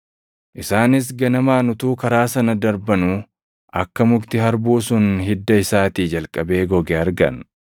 Isaanis ganamaan utuu karaa sana darbanuu akka mukti harbuu sun hidda isaatii jalqabee goge argan.